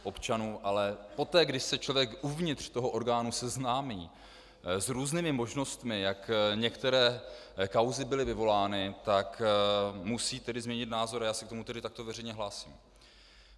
Ale poté, když se člověk uvnitř toho orgánu seznámí s různými možnostmi, jak některé kauzy byly vyvolány, tak musí tedy změnit názor, a já se k tomu tedy takto veřejně hlásím.